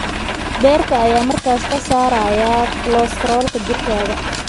Beerka ayaa markaas ka saaraya kolestaroolka jirkaaga.